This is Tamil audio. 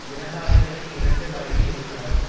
இரண்டு ஆயிரத்தி இரண்டு வரையில் இருந்தார்